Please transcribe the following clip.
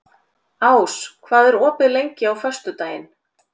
Ás, hvað er opið lengi á föstudaginn?